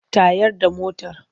Tayar da motar!